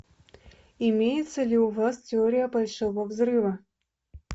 имеется ли у вас теория большого взрыва